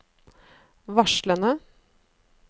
varslene